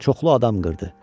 Çoxlu adam qırdı.